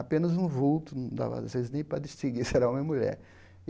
Apenas um vulto, não dava às vezes nem para distinguir se era homem ou mulher.